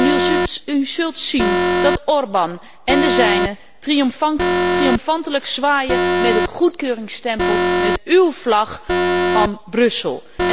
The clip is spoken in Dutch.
En u zult zien dat Orban en de zijnen triomfantelijk zwaaien met het goedkeuringsstempel, met uw vlag uit Brussel.